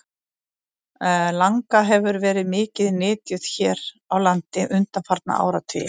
Langa hefur verið mikið nytjuð hér á landi undanfarna áratugi.